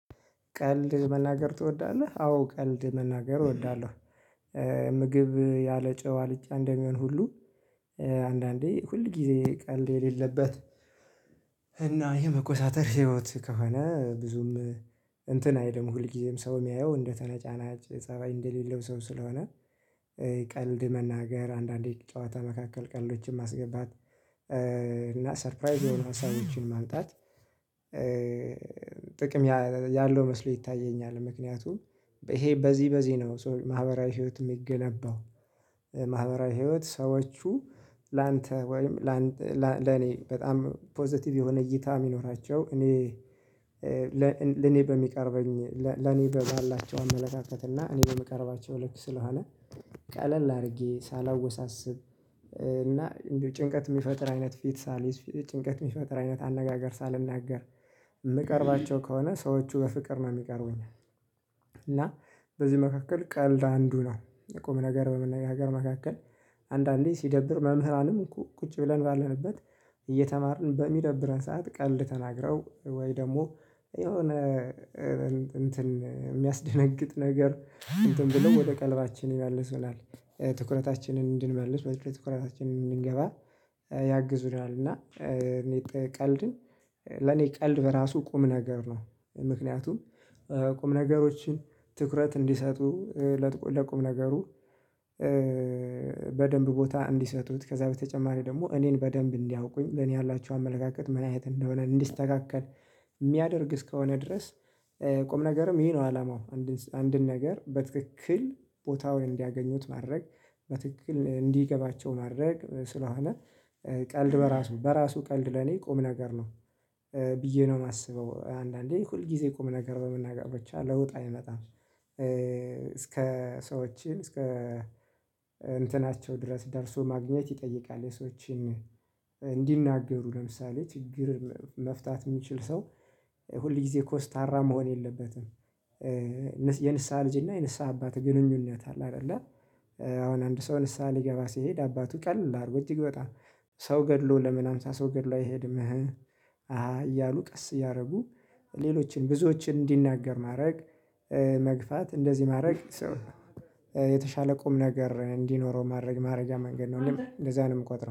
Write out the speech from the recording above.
ቀልድ መናገር ትወዳለህ አዎ ቀልድ መናገር እወዳለሁ። ምግብ ያለጨው አልጫ እንደሚሆን ሁሉ አንዳንዴ ሁል ጊዜ ቀልድ የሌለበት። እና የመኮሳተር ህይወት ከሆነ ብዙም እንትን አይደለም ሁልጊዜም ሰው የሚያየው እንደተነጫናጭ ፀሀይ እንደሌለው ሰው ስለሆነ። ቀልድ መናገር አንዳንዴ ጨዋታ መካከል ቀልዶችም ማስገባት እና ሰርፕራይዝ የሆኑ ሀሳቦችን ማምጣት ጥቅም ያለው መስሎ ይታየኛል። ምክንያቱም ይሄ በዚህ በዚህ ነው ማህበራዊ ህይወት የሚገነባው። ማህበራዊ ህይወት ሰዎቹ ላንተ ወይም ለኔ በጣም ፖዘቲቭ የሆነ እይታ የሚኖራቸው እኔ። ለኔ በሚቀርበኝ ለኔ ባላቸው አመለካከትና እኔ በምቀርባቸው ልክ ስለሆነ ቀለል አድርጌ ሳላወሳስብ እና እንዲሁ ጭንቀት የሚፈጥር አይነት ፊት ሳልይዝ ጭንቀት የሚፈጥር አይነት አነጋገር ሳልናገር የምቀርባቸው ከሆነ ሰዎቹ በፍቅር ነው የሚቀርቡኝ። እና በዚህ መካከል ቀልድ አንዱ ነው። የቁም ነገር በመነጋገር መካከል አንዳንዴ ሲደብር መምህራንም ቁጭ ብለን ባለንበት እየተማርን በሚደብረን ሰዓት ቀልድ ተናግረው ወይ ደግሞ የሆነ እንትን የሚያስደነግጥ ነገር እንትን ብሎ ወደ ቀልባችን ይመልሱናል ትኩረታችንን እንድንመልስ ወደ ትኩረታችንን እንድንገባ ያግዙናል። እና እኔ ቀልድን ለኔ ቀልድ በራሱ ቁም ነገር ነው። ምክንያቱም ቁም ነገሮችን ትኩረት እንዲሰጡ ለቁም ነገሩ በደንብ ቦታ እንዲሰጡት ከዛ በተጨማሪ ደግሞ እኔን በደንብ እንዲያውቁኝ ለኔ ያላቸው አመለካከት ምን አይነት እንደሆነ እንዲስተካከል የሚያደርግ እስከሆነ ድረስ። ቁም ነገርም ይሄ ነው አላማው አንድን ነገር በትክክል ቦታውን እንዲያገኙት ማድረግ በትክክል እንዲገባቸው ማድረግ ስለሆነ። ቀልድ በራሱ በራሱ ቀልድ ለኔ ቁም ነገር ነው ብዬ ነው የማስበው። አንዳንዴ ሁል ጊዜ ቁም ነገር በመናገር ብቻ ለውጥ አይመጣም። እስከ ሰዎችን እስከ እንትናቸው ድረስ ደርሶ ማግኘት ይጠይቃል። የሰዎችን እንዲናገሩ ለምሳሌ ችግር መፍታት የሚችል ሰው ሁል ጊዜ ኮስታራ መሆን የለበትም። የንስሃ ልጅ እና የንስሃ አባት ግንኙነት አለ አይደለ? አሁን አንድ ሰው ንስሃ ሊገባ ሲሄድ አባቱ ቀለል አርጎ እጅግ በጣም ሰው ገድሎ ለምን ሃምሳ ሰው ገድሎ አይሄድም? ህህ አሃሃ እያሉ ቀስ እያደረጉ ሌሎችን ብዙዎችን እንዲናገር ማድረግ መግፋት እንደዚህ ማድረግ። የተሻለ ቁም ነገር እንዲኖረው ማድረግ ማድረጊያ መንገድ ነው እኔም እንደዛ ነው የምቆጥረው